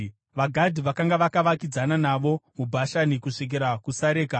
VaGadhi vakanga vakavakidzana navo muBhashani kusvikira kuSareka: